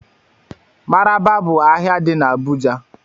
Maraba bụ ahịa dị n'Abuja